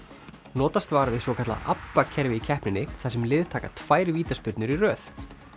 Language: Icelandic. notast var við svokallað ABBA kerfi í keppninni þar sem lið taka tvær vítaspyrnur í röð